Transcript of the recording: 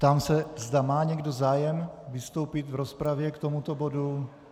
Ptám se, zda má někdo zájem vystoupit v rozpravě k tomuto bodu.